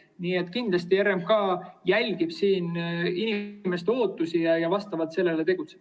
Nii et kindlasti RMK jälgib siin inimeste ootusi ja vastavalt sellele tegutseb.